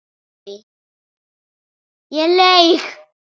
Ég laug.